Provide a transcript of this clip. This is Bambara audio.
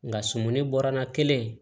Nka sumuni bɔra n na kelen